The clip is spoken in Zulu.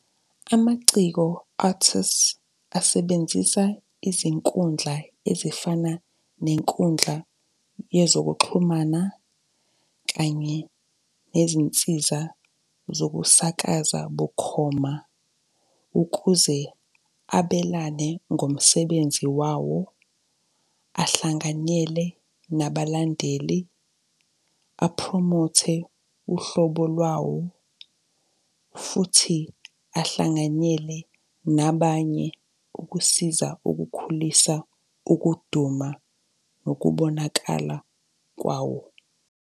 Amaciko, artists, asebenzisa izinkundla ezifana nenkundla yezokuxhumana kanye nezinsiza zokusakaza bukhoma, ukuze abelane ngomsebenzi wawo, ahlanganyele nabalandeli, aphromothe uhlobo lwawo, futhi ahlanganyele nabanye ukusiza ukukhulisa ukuduma, nokubonakala kwawo.